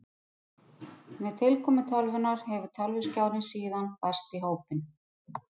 Með tilkomu tölvunnar hefur tölvuskjárinn síðan bæst í hópinn.